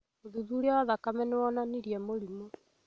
ũthuthuria wa thakame nĩwonanirie mũrimũ